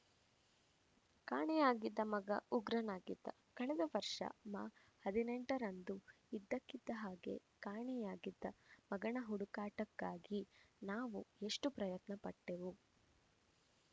ಕಾಣೆಯಾಗಿದ್ದ ಮಗ ಉಗ್ರನಾಗಿದ್ದ ಕಳೆದ ವರ್ಷ ಮಾ ಹದಿನೆಂಟರಂದು ಇದ್ದಕ್ಕಿದ್ದ ಹಾಗೆಯೇ ಕಾಣೆಯಾಗಿದ್ದ ಮಗನ ಹುಡುಕಾಟಕ್ಕಾಗಿ ನಾವು ಎಷ್ಟೋ ಪ್ರಯತ್ನ ಪಟ್ಟೆವು